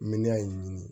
Miliyɔn in ɲini